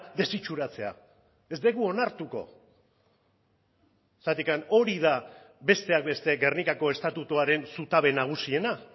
desitxuratzea ez dugu onartuko zergatik hori da besteak beste gernikako estatutuaren zutabe nagusiena